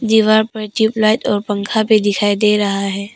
दीवार पर ट्यूबलाइट और पंखा भी दिखाई दे रहा है।